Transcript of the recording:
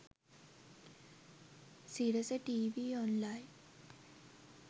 sirasa tv online